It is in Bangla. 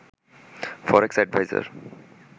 ফরেক্স এডভাইজর